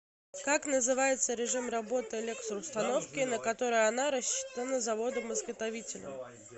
как называется режим работы электроустановки на который она рассчитана заводом изготовителем